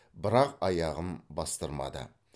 бірақ аяғым бастырмады